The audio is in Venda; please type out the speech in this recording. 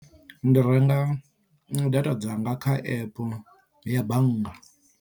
Ndi renga data dzanga kha app ya bannga.